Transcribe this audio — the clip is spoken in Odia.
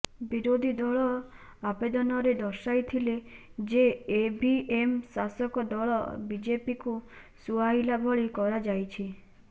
ବିରୋଧୀ ଦଳ ଆବେଦନରେ ଦର୍ଶାଇଥିଲେ ଯେ ଇଭିଏମ୍ ଶାସକ ଦଳ ବିଜେପିକୁ ସୁହାଇଲା ଭଳି କରାଯାଇଛି